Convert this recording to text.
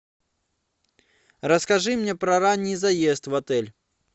расскажи мне про ранний заезд в отель